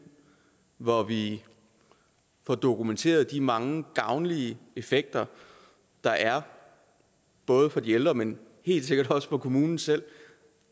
hvor vi får dokumenteret de mange gavnlige effekter der er både for de ældre men helt sikkert også for kommunen selv